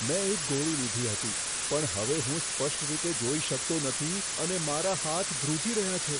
મેં એક ગોળી લીધી હતી, પણ હવે હું સ્પષ્ટ રીતે જોઈ શકતો નથી અને મારા હાથ ધ્રુજી રહ્યા છે.